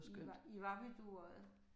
I i var ved Dueodde?